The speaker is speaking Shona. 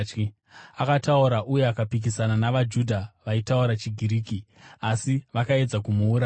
Akataura uye akapikisana navaJudha vaitaura chiGiriki, asi vakaedza kumuuraya.